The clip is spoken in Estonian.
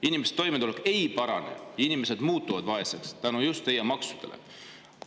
Inimeste toimetulek ei parane, inimesed muutuvad vaeseks just maksude tõttu.